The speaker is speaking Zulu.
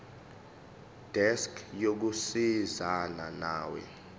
desk yokusizana nawe